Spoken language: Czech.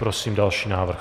Prosím další návrh.